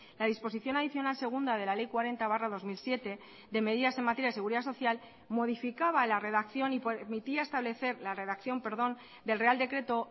la disposición adicional segunda de la ley cuarenta barra dos mil siete de medidas en materia de seguridad social modificaba la redacción y permitía establecer la redacción perdón del real decreto